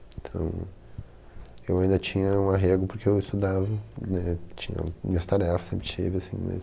Então, eu ainda tinha um arrego porque eu estudava, tinha minhas tarefas, sempre tive, assim, mas...